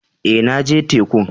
Eh, na je tekun.